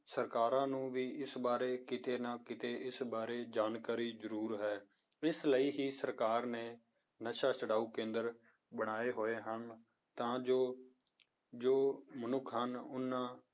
ਸਰਕਾਰਾਂ ਨੂੰ ਵੀ ਇਸ ਬਾਰੇ ਕਿਤੇ ਨਾ ਕਿਤੇ ਇਸ ਬਾਰੇ ਜਾਣਕਾਰੀ ਜ਼ਰੂਰ ਹੈ, ਇਸ ਲਈ ਹੀ ਸਰਕਾਰ ਨੇ ਨਸ਼ਾ ਛੁਡਾਓ ਕੇਂਦਰ ਬਣਾਏ ਹੋਏ ਹਨ, ਤਾਂ ਜੋ, ਜੋ ਮਨੁੱਖ ਹਨ ਉਹਨਾਂ